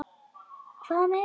Hvað með ykkur?